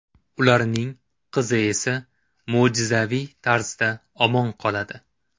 Ularning qizi esa mo‘jizaviy tarzda omon qoladi.